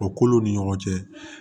O kolow ni ɲɔgɔn cɛ